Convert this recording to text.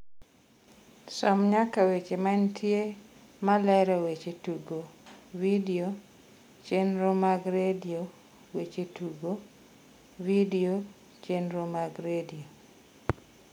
som nyaka weche mantie malero weche tugo vidio chenro mag redio weche tugo vidio chenro mag redio